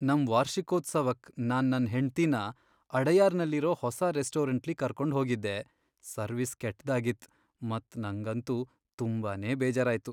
ನಮ್ ವಾರ್ಷಿಕೋತ್ಸವಕ್ ನಾನ್ ನನ್ ಹೆಂಡತಿನ ಅಡಯಾರ್ನಲ್ಲಿರೋ ಹೊಸ ರೆಸ್ಟೋರೆಂಟ್ಲಿ ಕರ್ಕೊಂಡ್ ಹೋಗಿದ್ದೆ ಸರ್ವಿಸ್ ಕೆಟ್ದಾಗಿತ್ ಮತ್ ನಂಗಂತೂ ತುಂಬಾನೇ ಬೇಜಾರಾಯ್ತು.